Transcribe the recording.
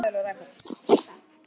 Ég fékk í magann.